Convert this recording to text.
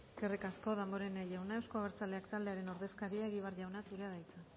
eskerrik asko damborenea jauna euzko abertzaleak taldearen ordezkaria egibar jauna zurea da hitza